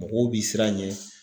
Mɔgɔw bi siran ɲɛ.